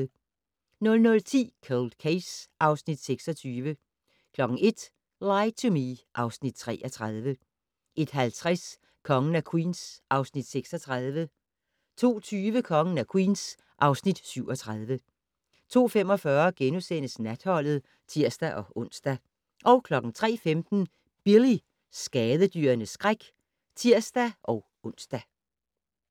00:10: Cold Case (Afs. 26) 01:00: Lie to Me (Afs. 33) 01:50: Kongen af Queens (Afs. 36) 02:20: Kongen af Queens (Afs. 37) 02:45: Natholdet *(tir-ons) 03:15: Billy - skadedyrenes skræk (tir-ons)